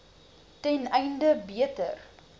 ten einde beter